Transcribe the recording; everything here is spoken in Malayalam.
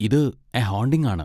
ഇത് 'എ ഹോണ്ടിങ്' ആണ്.